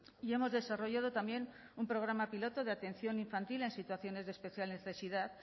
y hemos desarrollado también un programa piloto de atención infantil en situaciones de especial necesidad